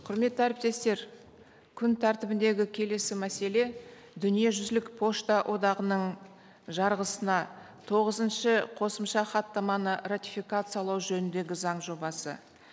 құрметті әріптестер күн тәртібіндегі келесі мәселе дүниежүзілік пошта одағының жарғысына тоғызыншы қосымша хаттаманы ратификациялау жөніндегі заң жобасы